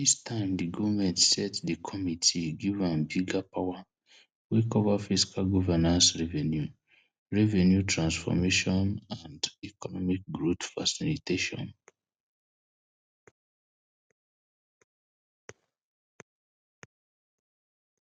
dis time di goment set di committee give am bigger power wey cover fiscal governance revenue revenue transformation and economic growth facilitation